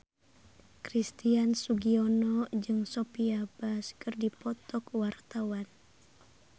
Christian Sugiono jeung Sophia Bush keur dipoto ku wartawan